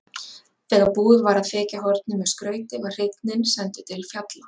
Þegar búið var að þekja hornin með skrauti var hreinninn sendur til fjalla.